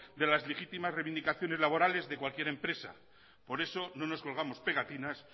de las legítimas reivindicaciones laborales de cualquier empresa por eso no nos colgamos pegatinas